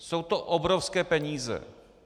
Jsou to obrovské peníze.